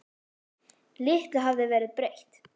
Litlu hafði verið breytt.